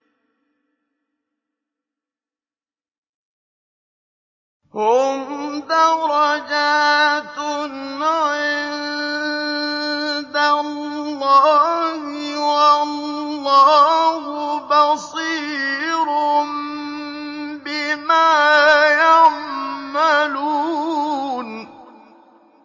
هُمْ دَرَجَاتٌ عِندَ اللَّهِ ۗ وَاللَّهُ بَصِيرٌ بِمَا يَعْمَلُونَ